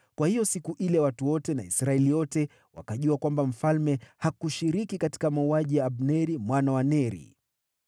Kwa hiyo siku ile watu wote na Israeli yote wakajua kwamba mfalme hakushiriki katika mauaji ya Abneri mwana wa Neri.